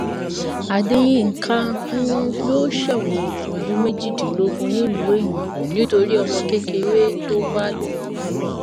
adeyinka um yóò ṣẹwọn ọdún méjìdínlógún nílùú èyìnbó nítorí ọmọ kékeré tó bá lò pọ